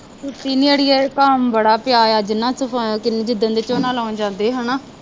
ਸੁੱਤੀ ਨਹੀਂ ਅੜੀਏ, ਕੰਮ ਬੜਾ ਪਿਆ ਹੈ, ਜਿੰਨਾ ਜਿ ਦਿਨ ਦੇ ਝੋਨਾ ਲਾਉਣ ਜਾਂਦੇ ਹੈ ਨਾ